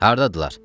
Hardadırlar?